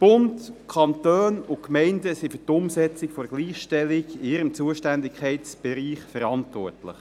Bund, Kantone und Gemeinden sind für die Umsetzung der Gleichstellung in ihrem Zuständigkeitsbereich verantwortlich.